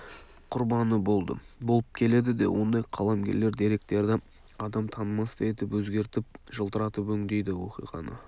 құрбаны болды болып келеді де ондай қаламгерлер деректерді адам танымастай етіп өзгертіп жылтыратып өңдейді оқиғаны